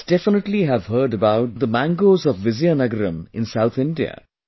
You must definitely have heard about the mangoes of Vizianagaram in South India